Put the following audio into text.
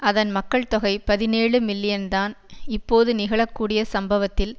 அதன் மக்கள் தொகை பதினேழு மில்லியன்தான் இப்போது நிகழக்கூடிய சம்பவத்தில்